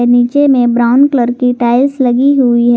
नीचे में brown colour की टाइल्स लगी हुई है।